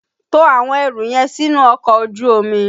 To àwọn ẹrù yẹn sínú ọkọ̀ ojú omi!